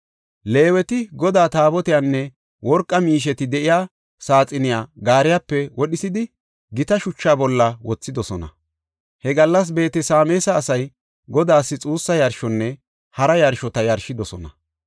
Leeweti Godaa Taabotiyanne worqa miisheti de7iya saaxiniya gaariyape wodhisidi, gita shucha bolla wothidosona. He gallas Beet-Sameesa asay Godaas xuussa yarshonne hara yarshota yarshidosona.